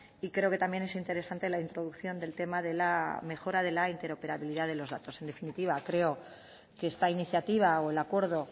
y creo que también es interesante la introducción del tema de la mejora de la interoperabilidad de los datos en definitiva creo que esta iniciativa o el acuerdo